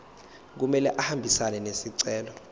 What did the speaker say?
kumele ahambisane nesicelo